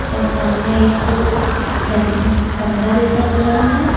और सामने एक गम बंगला जैसा बना है।